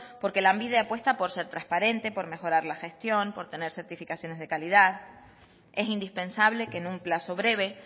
porque lanbide apuesta por ser transparente por mejorar la gestión por tener certificaciones de calidad es indispensable que en un plazo breve